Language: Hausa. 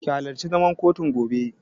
Ki halarci zaman kotun gobe!